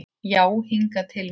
Já hingað til mín.